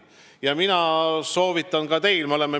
Ja mina soovitan ka teil nii mõelda.